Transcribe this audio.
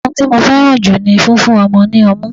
oun ti mo fẹràn ju ni fífún ọmọ ni ọmu